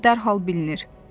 Təcə dərhal bilinir.